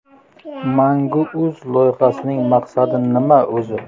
Mangu.uz loyihasining maqsadi nima o‘zi?